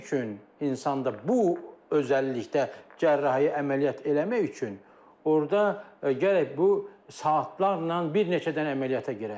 insanda bu özəllikdə cərrahi əməliyyat eləmək üçün orda gərək bu saatlarla bir neçə dənə əməliyyata girək.